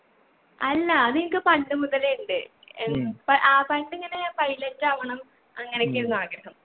അല്ലാ അത് എനിക്ക് പണ്ട് മുതലേ ഇണ്ട് എൻ പ ആഹ് പണ്ട് ഇങ്ങനെ pilot ആവണം. അങ്ങനെക്കേ ആയിരുന്നു ആഗ്രഹം